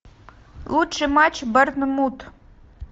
лучший матч борнмут